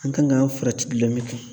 An kan ka an farati gulɔmin kan